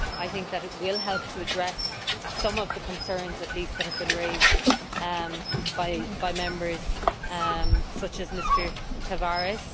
I think this will help to address some of the concerns, at least, that have been raised by Members such as Mr Tavares.